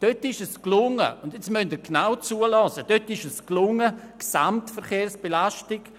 Dort gelang es – und jetzt müssen Sie genau herhören –, die Gesamtverkehrs-